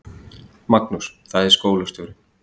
Magnús: Það er skólastjórinn.